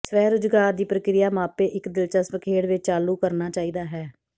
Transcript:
ਸਵੈ ਰੁਜ਼ਗਾਰ ਦੀ ਪ੍ਰਕਿਰਿਆ ਮਾਪੇ ਇੱਕ ਦਿਲਚਸਪ ਖੇਡ ਵਿੱਚ ਚਾਲੂ ਕਰਨਾ ਚਾਹੀਦਾ ਹੈ